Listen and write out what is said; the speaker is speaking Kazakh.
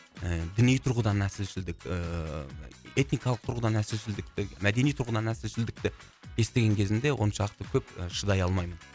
і діни тұрғыдан нәсілшілдік ііі этникалық тұрғыдан нәсілшілдікті мәдени тұрғыдан нәсілшілдікті естіген кезімде оншалықты көп і шыдай алмаймын